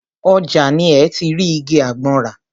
Ọjà ni ẹ́ ti rí igi àgbọn rà.